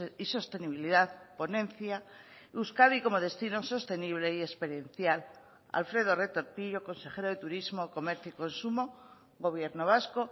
y sostenibilidad ponencia euskadi como destino sostenible y experiencial alfredo retortillo consejero de turismo comercio y consumo gobierno vasco